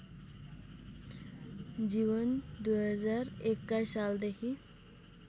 जीवन २०२१ सालदेखि